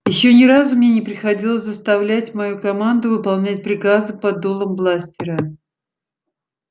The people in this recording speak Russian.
ещё ни разу мне не приходилось заставлять мою команду выполнять приказы под дулом бластера